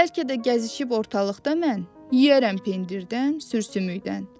Bəlkə də gəzişib ortalıqda mən, yeyərəm pendirdən, sür sümükdən.